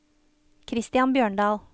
Christian Bjørndal